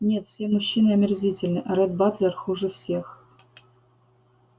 нет все мужчины омерзительны а ретт батлер хуже всех